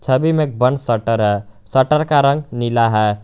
छवि में एक बंद शटर है शटर का रंग नीला है।